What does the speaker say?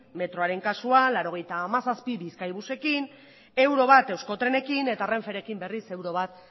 metroaren kasuan laurogeita hamazazpi bizkaibusekin bat euro euskotrenekin eta renferekin berriz bat